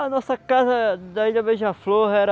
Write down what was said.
A nossa casa da ilha Beija-Flor era...